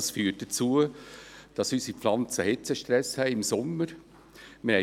Das führt dazu, dass unsere Pflanzen im Sommer einen Hitzestress haben.